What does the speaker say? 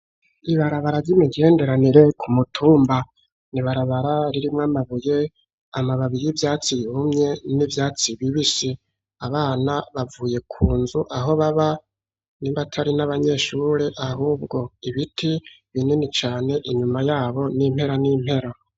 ibarabara ry'imigenderanire ku mutumba n'ibarabara ririmwo amabuye amababiye vyatsi yiumye n'ibyatsi bibisi abana bavuye ku nzu aho baba nibatari n'abanyeshure ahubwo ibiti binini cyane inyuma yabo n'impero n'impero.